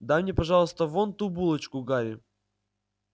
дай мне пожалуйста вон ту булочку гарри